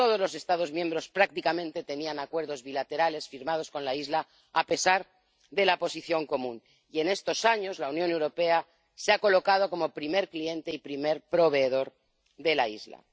Todos los Estados miembros prácticamente tenían acuerdos bilaterales firmados con la isla, a pesar de la Posición Común, y en estos años la Unión Europea se ha colocado como primer cliente y primer proveedor de la isla.